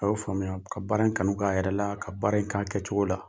A y'o faamuya ka baara in kanu kɛ a yɛrɛ la, ka baara in kɛ a kɛcogo la.